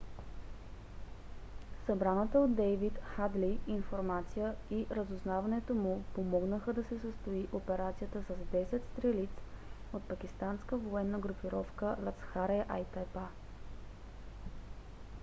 събраната от дейвид хадли информация и разузнаването му помогнаха да се състои операцията с 10 стрелиц от пакистанската военна групировка ласкхар-е-тайба